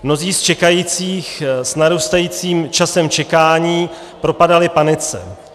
Mnozí z čekajících s narůstajícím časem čekání propadali panice.